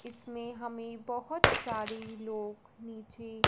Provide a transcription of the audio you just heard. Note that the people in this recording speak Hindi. इसमें हमें बहोत सारे लोग नीचे--